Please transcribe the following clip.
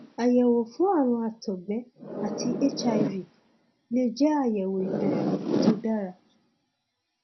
àyẹwò fún ààrùn àtọgbẹ àti hiv lè jẹ àyẹwò ìbẹrẹ tó dára